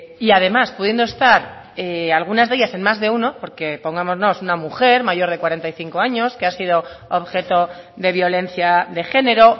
y además pudiendo estar algunas de ellas en más de uno porque pongámonos una mujer mayor de cuarenta y cinco años que ha sido objeto de violencia de género